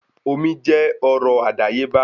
Omi jẹ́ ọrọ̀ àdáyébá